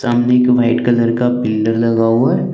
सामने एक white colour का पिलर लगा हुआ है।